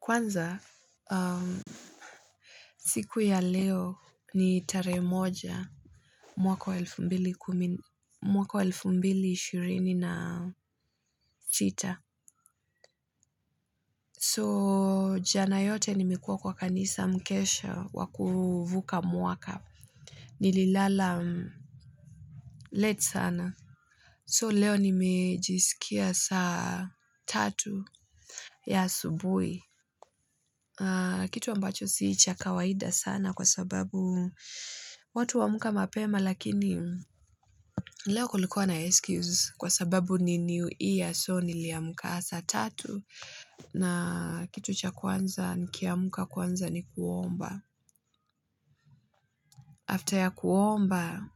Kwanza, siku ya leo ni tarehe moja mwaka waelfumbili kumina, mwaka elfumbili ishirini na sita. So, janayote ni mekua kwa kanisa mkesha waku vuka mwaka. Nili lala late sana. So, leo nimejisikia sa tatu ya asubuhi. Kitu ambacho sii cha kawaida sana kwa sababu, watu huamka mapema lakini, leokulikuwa na excuse kwa sababu ni new year. So, ni liamka sa tatu na kitu cha kwanza, nikiamka kwanza ni kuomba. After ya kuomba,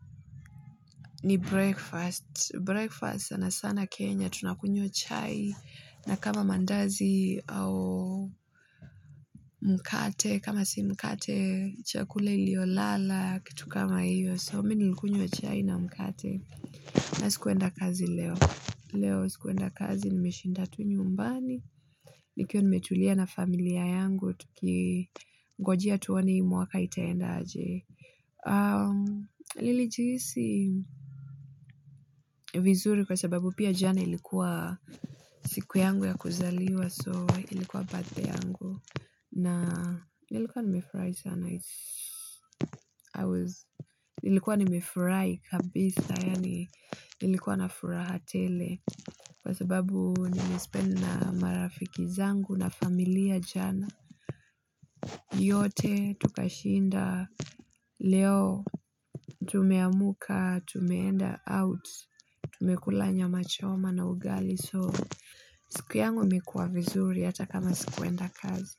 ni breakfast. Breakfast sana sana Kenya tunakunywa chai, na kama mandazi au mkate, kama si mkate, cha kula iliyo lala, kitu kama hiyo. So, mimini likunywa chai na mkate. Na sikuenda kazi leo. Leo sikuenda kazi ni meshindatu ni nyumbani. Nikiwa ni metulia na familia yangu, tuki ngojea tuonehii mwaka itaenda aje. Nili jihisi vizuri kwa sababu, pia jana ilikuwa siku yangu ya kuzaliwa, so ilikuwa birthday yangu. Nili kuwa ni mefurahi sana. Nili kuwa ni mefurahi kabisa, nilikuwa na furahatele, kwa sababu nilispend na marafiki zangu na familia jana. Yote tukashinda leo. Tumeamka, tumeenda out. Tumekulanya machoma na ugali. So, siku yangu imekuwa vizuri hataka ma sikuenda kazi.